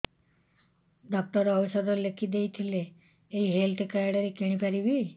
doctor ଔଷଧ ଲେଖିଦେଇଥିଲେ ଏଇ ହେଲ୍ଥ କାର୍ଡ ରେ କିଣିପାରିବି